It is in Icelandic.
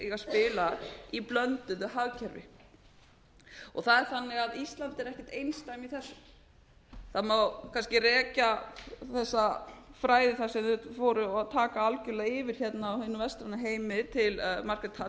eiga að spila í blönduðu hagkerfi það er þannig að ísland er ekkert einsdæmi í þessu það má kannski rekja þessa frægð þar sem þeir fóru að taka algjörlega yfir hérna á hinum vestræna heimi til margaret